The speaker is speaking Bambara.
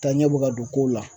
Taaɲɛ bɛ ka don kow la.